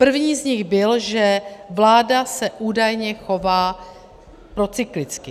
První z nich byl, že vláda se údajně chová procyklicky.